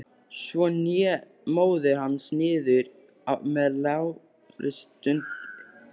Svo hné móðir hans niður með lágri stunu.